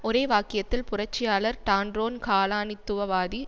ஒரே வாக்கியத்தில் புரட்சியாளர் டான்ரோன் காலனித்துவவாதி